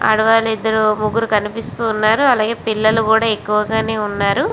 ఆడవాళ్లు ఇదరు ముగురు కనిపిస్తూ వున్నారు. అలాగే చిన్న పిల్లలు కూడా ఎక్కువగానే ఉనారు.